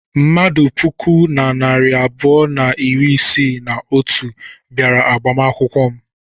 Mmadụ puku na narị abụọ na iri isii na otu bịara agbamakwụkwọ m.